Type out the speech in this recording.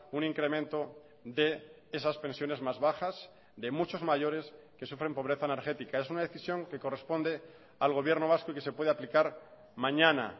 un incremento de esas pensiones más bajas de muchos mayores que sufren pobreza energética es una decisión que corresponde al gobierno vasco y que se puede aplicar mañana